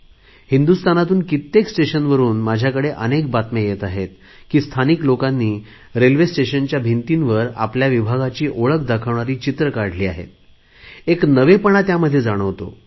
हिंदुस्थानातून कित्येक स्टेशनवरुन माझ्याकडे अनेक बातम्या येत आहेत की स्थानिक लोकांनी रेल्वे स्टेशनच्या भिंतींवर आपल्या विभागाची ओळख दाखवणारी चित्रे काढली आहेत एक नवेपणा त्यामध्ये जाणवतो